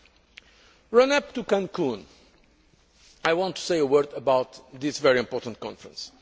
On the run up to Cancún, I want to say a word about this very important conference.